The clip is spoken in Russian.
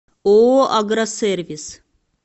ооо агросервис